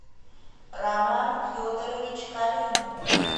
роман федорович калинин